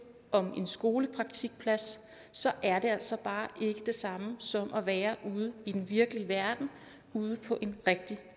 om en skolepraktikplads er altså bare ikke det samme som at være ude i den virkelige verden ude på en rigtig